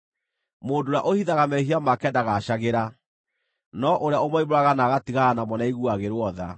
Mũndũ ũrĩa ũhithaga mehia make ndagaacagĩra, no ũrĩa ũmoimbũraga na agatigana namo nĩaiguagĩrwo tha.